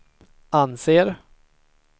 anser